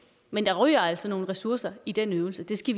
men der ryger altså nogle ressourcer i den øvelse det skal